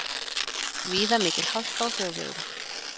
Víða mikil hálka á þjóðvegum